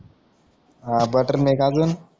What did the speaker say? हा बटरमिल्क आजून